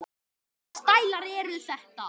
Hvaða stælar eru þetta?